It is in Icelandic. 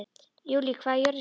Júlí, hvað er jörðin stór?